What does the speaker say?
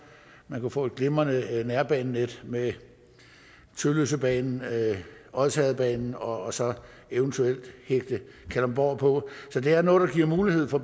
man kunne få et glimrende nærbanenet med tølløsebanen og odsherredsbanen og så eventuelt hægte kalundborg på så det er noget der giver mulighed for